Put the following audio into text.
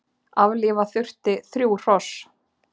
Aflífa þurfti þrjú hross